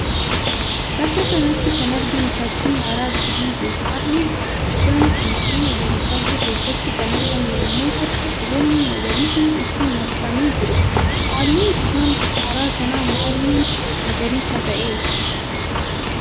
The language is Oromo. Bakka kanatti kan arginuu fakkii hara bishaaniiti. Harri guddaan kun boolla gadi fagoo keessatti kan argamu yammuu ta'u biqiloonni magariisni itti marsanii jiru. Halluun bishaan hara kanaa maalii magariisa ta'e?